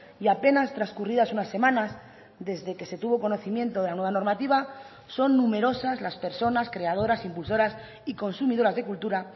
y apenas transcurridas unas semanas desde que se tuvo conocimiento de la nueva normativa son numerosas las personas creadoras impulsoras y consumidoras de cultura